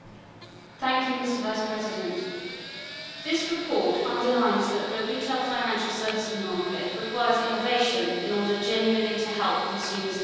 Mr President, this report underlines that the retail financial services market requires innovation in order genuinely to help consumers and businesses.